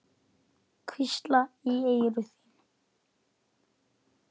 Hvísla í eyru þín.